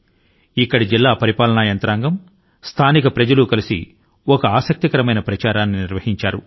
ఇక్కడ జిల్లా యంత్రాంగం స్థానికులు కలసి ఒక ఆసక్తికరమైన కార్యక్రమాన్ని నిర్వహించారు